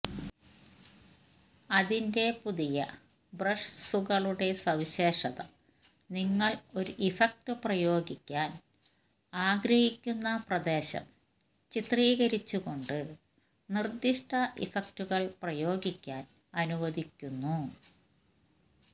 അതിന്റെ പുതിയ ബ്രഷ്സുകളുടെ സവിശേഷത നിങ്ങൾ ഒരു ഇഫക്റ്റ് പ്രയോഗിക്കാൻ ആഗ്രഹിക്കുന്ന പ്രദേശം ചിത്രീകരിച്ചുകൊണ്ട് നിർദ്ദിഷ്ട ഇഫക്റ്റുകൾ പ്രയോഗിക്കാൻ അനുവദിക്കുന്നു